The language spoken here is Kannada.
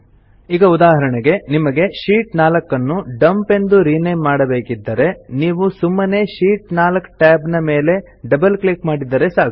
ಈಗ ಉದಾಹರಣೆಗೆ ನಿಮಗೆ ಶೀಟ್ 4 ನ್ನು ಡಂಪ್ ಎಂದು ರಿನೇಮ್ ಮಾಡಬೇಕಿದ್ದರೆ ನೀವು ಸುಮ್ಮನೆ ಶೀಟ್ 4 tab ಮೇಲೆ ಡಬಲ್ ಕ್ಲಿಕ್ ಮಾಡಿದರೆ ಸಾಕು